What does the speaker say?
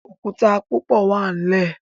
Òkúta púpọ wá nlè